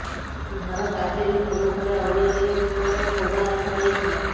ଘର ପାଚେରୀ ସମ୍ମୁଖରେ ଅନ୍ୟ ଜିନିଷ ସହିତ ବୋମା ରଖା ଯାଇଥିଲା